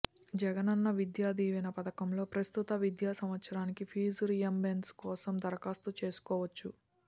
జగనన్న విద్యా దీవెన పథకం లో ప్రస్తుత విద్యా సంవత్సరానికి ఫీజు రీయింబర్స్మెంట్ కోసం దరఖాస్తు చేసుకోవచ్చు